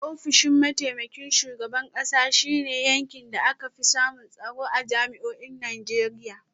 Ofishin mataimakin shugaban kasa shi ne yankin da aka fi samun tsaro a jami’o’in Najeriya.